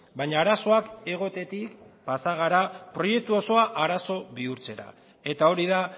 baina arazoak egotetik pasa gara proiektu osoa arazo bihurtzera eta hori da